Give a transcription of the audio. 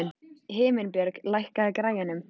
Himinbjörg, lækkaðu í græjunum.